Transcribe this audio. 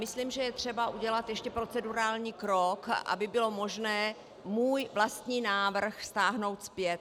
Myslím, že je třeba udělat ještě procedurální krok, aby bylo možné můj vlastní návrh stáhnout zpět.